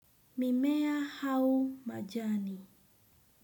Mimea au majani.